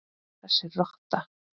Þessi rotta!